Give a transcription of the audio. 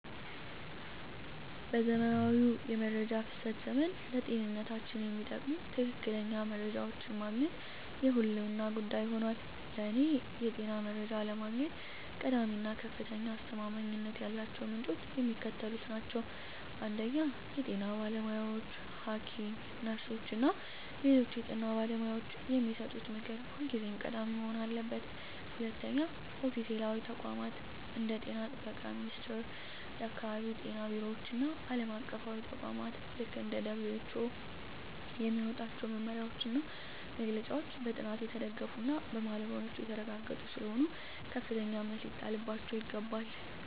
በዘመናዊው የመረጃ ፍሰት ዘመን፣ ለጤንነታችን የሚጠቅሙ ትክክለኛ መረጃዎችን ማግኘት የህልውና ጉዳይ ሆኗል። ለእኔ የጤና መረጃ ለማግኘት ቀዳሚ እና ከፍተኛ አስተማማኝነት ያላቸው ምንጮች የሚከተሉት ናቸው 1) የጤና ባለሙያዎች: ሐኪሞች፣ ነርሶች እና ሌሎች የጤና ባለሙያዎች የሚሰጡት ምክር ሁልጊዜም ቀዳሚ መሆን አለበት። 2)ኦፊሴላዊ ተቋማት: እንደ የጤና ጥበቃ ሚኒስቴር፣ የአካባቢ ጤና ቢሮዎች እና ዓለም አቀፍ ተቋማት (እንደ WHO) የሚያወጧቸው መመሪያዎችና መግለጫዎች በጥናት የተደገፉና በባለሙያዎች የተረጋገጡ ስለሆኑ ከፍተኛ እምነት ሊጣልባቸው ይገባል።